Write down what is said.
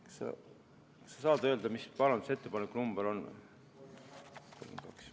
Kas sa saad öelda, mis parandusettepaneku number on?